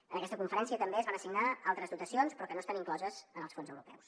en aquesta conferència també es van assignar altres dotacions però que no estan incloses en els fons europeus